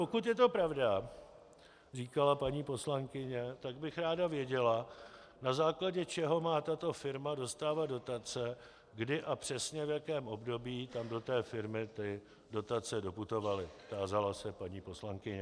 Pokud je to pravda, říkala paní poslankyně, tak bych ráda věděla, na základě čeho má tato firma dostávat dotace, kdy a přesně v jakém období tam do té firmy ty dotace doputovaly, tázala se paní poslankyně.